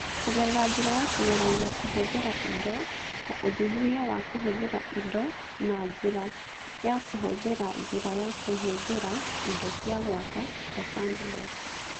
Kũgerera njĩra ya kũgeragia kũhũthĩra indo, ta ũthuthuria wa kũhũthĩra indo na njĩra ya kũhũthĩra njĩra ya kũhũthĩra indo cia gwaka (sandbox).